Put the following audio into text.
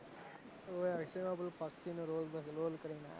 હોવે એમાં પક્ષી નો roll નો કરેલો,